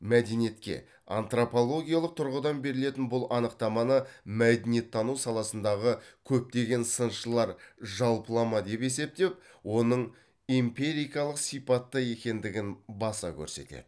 мәдениетке антропологиялық тұрғыдан берілетін бұл анықтаманы мәдениеттану саласындағы көптеген сыншылар жалпылама деп есептеп оның империкалық сипатта екендігін баса көрсетеді